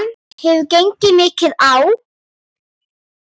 Það hefur gengið mikið á!